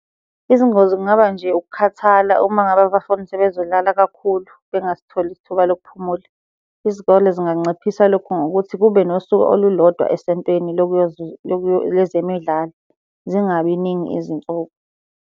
Izingozi kungaba nje ukukhathala uma ngabe abafuni sebezodlala kakhulu bengasitholi isithuba lokuphumula. Izikole zinganciphisa lokhu ngokuthi kube nosuku olulodwa esontweni lezemidlalo, zingabi ningi izinsuku.